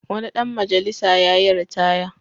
Wani dan majalisa yayi ritaya.